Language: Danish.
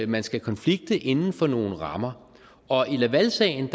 man skal konflikte inden for nogle rammer og i lavalsagen